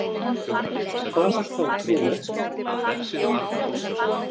Það var þá trúlegt!